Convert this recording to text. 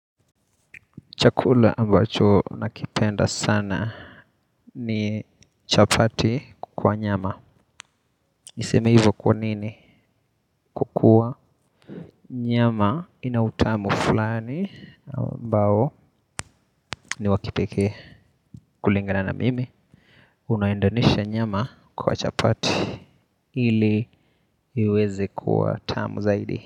Chakula ambacho nakipenda sana ni chapati kwa nyama. Niseme hivyo kwa nini? Kwa kuwa nyama ina utamu fulani ambao ni wa kipekee. Kulingana na mimi unaendanisha nyama kwa chapati ili iweze kuwa tamu zaidi.